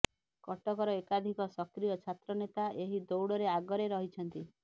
କଟକର ଏକାଧିକ ସକ୍ରିୟ ଛାତ୍ର ନେତା ଏହି ଦୌଡ଼ରେ ଆଗରେ ରହିଛନ୍ତି